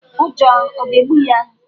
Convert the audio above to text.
Ụjọ ọ̀ ga-egbu ya?